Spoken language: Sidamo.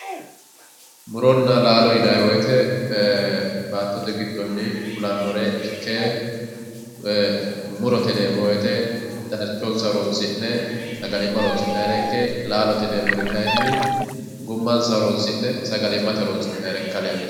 Muronna laalo yinnanni woyte e"e baattote giddonni fullanore ikke koye murote yineemmo woyte darchonsa horonsi'ne sagalima horonsi'nayire ikke laalote yineemmori kayinni gummansa horonsi'ne sagalimate horonsi'nayire ikka leellishano.